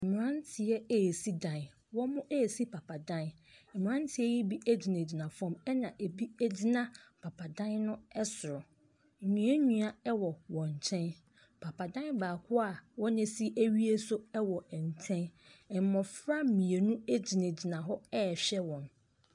Mmranteɛ resi dan. Wɔresi papadan. Mmranteɛ yi bi gyinagyina fam. Ɛna ebi gyina papadan no ɛsoro. Nnua nnua wɔ wɔn nkyɛn. Papadan baako a wɔanya asi awie nso wɔ nkyɛn. Mmofra mmienu gyinagyina hɔ rehwɛ wɔn.